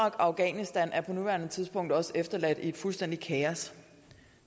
og afghanistan er på nuværende tidspunkt også efterladt i et fuldstændigt kaos